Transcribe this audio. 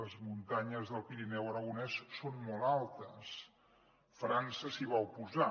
les muntanyes del pirineu aragonès són molt altes frança s’hi va oposar